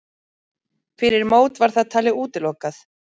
Fyrir mót var það talið útilokað.